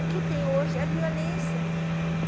O que tem hoje é a violência.